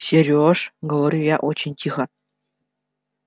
серёж говорю я очень тихо